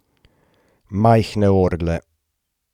Majhne orgle.